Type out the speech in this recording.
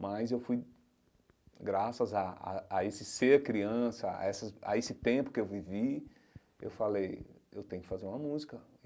Mas eu fui, graças a a a esse ser criança, a essas a esse tempo que eu vivi, eu falei, eu tenho que fazer uma música.